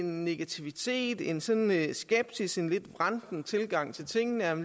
negativitet en sådan skepsis en lidt vranten tilgang til tingene